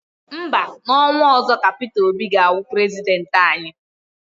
Mba, n'ọnwa ọzọ ka Peter Obi ga-awụ prezidenti anyị.